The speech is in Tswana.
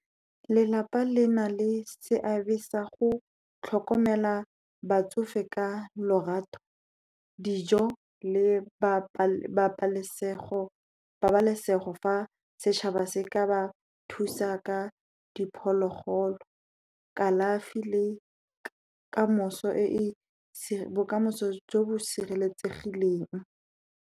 Lelapa le na le seabe sa go tlhokomela batsofe ka lorato, dijo le pabalesego. Fa setšhaba se ka ba thusa ka diphologolo, kalafi le bokamoso jo bo sireletsegileng.